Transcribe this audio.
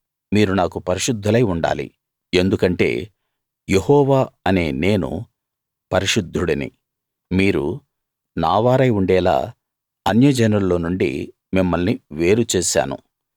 మీరు నాకు పరిశుద్ధులై ఉండాలి ఎందుకంటే యెహోవా అనే నేను పరిశుద్ధుడిని మీరు నావారై ఉండేలా అన్య జనుల్లో నుండి మిమ్మల్ని వేరు చేశాను